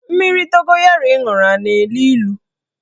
Mmiri dogoyaro ị ṅụrụ a na-elu ilu?